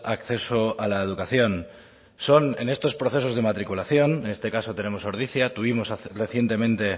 acceso a la educación son en estos procesos de matriculación en este caso tenemos ordizia tuvimos recientemente